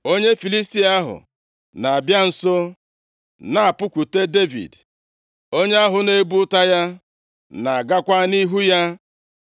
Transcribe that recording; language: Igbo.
Onye Filistia ahụ, na-abịa nso na-apụkwute Devid, onye ahụ na-ebu ọta ya na-agakwa nʼihu ya.